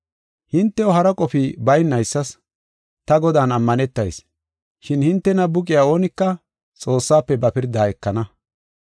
Hintew hara qofi baynaysas ta Godan ammanetayis. Shin hintena buqiya oonika Xoossafe ba pirdaa ekana.